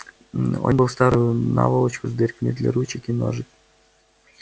он был в старую наволочку с дырками для ручек и ножек